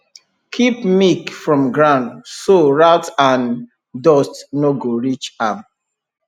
keep milk from ground so rat and dust no go reach am